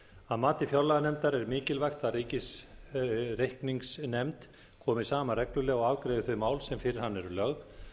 að mati fjárlaganefndar er mikilvægt að ríkisreikningsnefnd komi saman reglulega og afgreiði þau mál sem fyrir hana eru lögð þá